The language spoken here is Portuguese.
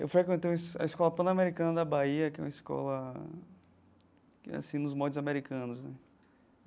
Eu frequentei a Escola Pan-Americana da Bahia, que é uma escola que é assim nos modos americanos né.